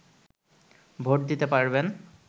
vote দিতে পারবেন